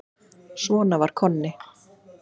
Svona var Konni.